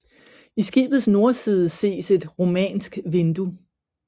I skibets nordside ses et romansk vindue